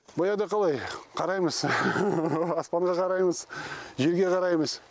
баяғыда қалай қараймыз аспанға қараймыз жерге қараймыз